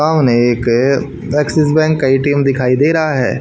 सामने एक Axis bank का ए_टी_एम दिखाई दे रहा है।